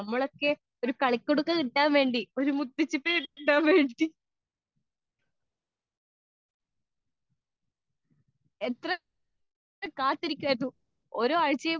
speaker 2 നമ്മളൊക്കെ ഒരു കളിക്കുടുക്ക കിട്ടാൻ വേണ്ടി ഒരു മുത്തുച്ചിപ്പി കിട്ടാൻ വേണ്ടി എത്ര കാത്തിരിക്കുമായിരുന്നു ഓരോ ആഴ്ചയും